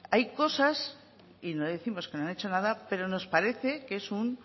hay cosas y no décimos que no han hecho nada pero nos parece que es un